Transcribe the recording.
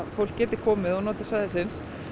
fólk geti komið og notið svæðisins